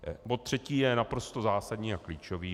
Bod třetí je naprosto zásadní a klíčový.